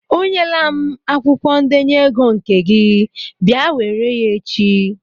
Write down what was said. O nyela m akwụkwọ ndenye ego nke gị, bịa were ya echi!